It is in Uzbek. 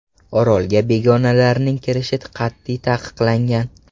Orolga begonalarning kirishi qat’iy taqiqlangan.